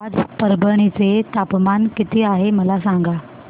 आज परभणी चे तापमान किती आहे मला सांगा